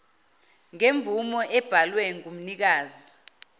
ngemvume ebhalwe ngumnikazi